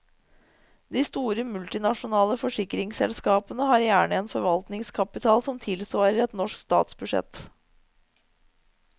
De store multinasjonale forsikringsselskapene har gjerne en forvaltningskapital som tilsvarer et norsk statsbudsjett.